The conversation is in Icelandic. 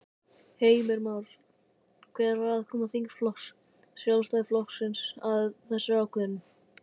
Heimir Már: Hver var aðkoma þingflokks Sjálfstæðisflokksins að þessari ákvörðun?